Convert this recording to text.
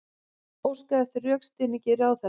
Óskar eftir rökstuðningi ráðherra